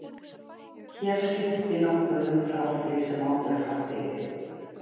Hér skipti nokkuð um frá því sem áður hafði verið.